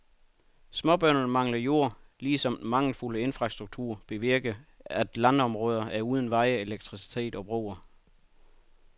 Småbønderne mangler jord, lige som den mangelfulde infrastruktur bevirker at landområder er uden veje, elektricitet og broer.